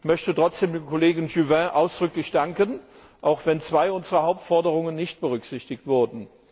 Ich möchte trotzdem dem Kollegen Juvin ausdrücklich danken, auch wenn zwei unserer Hauptforderungen nicht berücksichtigt wurden.